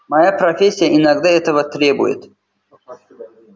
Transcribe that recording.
моя профессия иногда этого требует